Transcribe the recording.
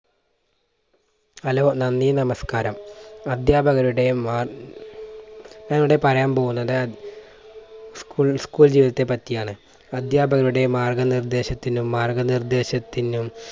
hello നന്ദി നമസ്കാരം, അധ്യാപകരുടെ മാ ഞാൻ ഇവിടെ പറയാൻ പോകുന്നത് school school ജീവിതത്തെ പറ്റിയാണ്. അധ്യാപകരുടെ മാർഗ്ഗനിർദ്ദേശത്തിനും മാർഗ്ഗനിർദ്ദേശത്തിന്നും